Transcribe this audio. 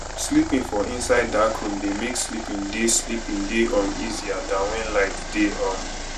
sleeping for inside dark room dey make sleeping dey sleeping dey um easier than when light dey um